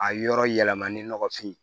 A yɔrɔ yɛlɛmani nɔgɔfin